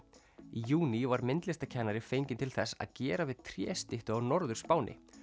í júní var myndlistarkennari fenginn til þess að gera við tréstyttu á Norður Spáni